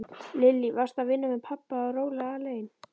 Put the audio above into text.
Lillý: Varstu að vinna með pabba og róla alein?